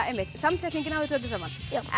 samsetningin á þessu öllu saman